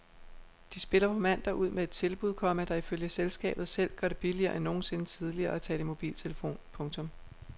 De spiller på mandag ud med et tilbud, komma der ifølge selskabet selv gør det billigere end nogensinde tidligere at tale i mobiltelefon. punktum